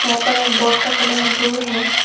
यहां पर एक बोट का कलर ब्लू है।